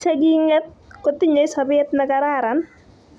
che king' et kotinyei sobet ne kararan.